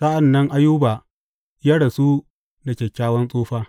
Sa’an nan Ayuba ya rasu da kyakkyawan tsufa.